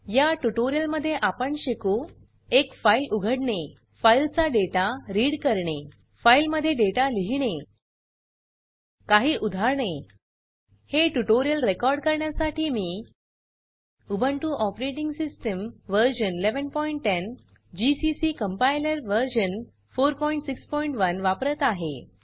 या ट्यूटोरियल मध्ये आपण शिकू एक फाइल उघडणे फाइल चा डेटा रीड करणे फाइल मध्ये डेटा लिहीणे काही उदाहरणे हे ट्यूटोरियल रेकॉर्ड करण्यासाठी मी Ubuntu operating system version 1110 GCC compiler version 461 वापरत आहे